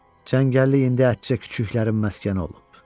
Çəngəllik indi ətcə küçüklərin məskəni olub.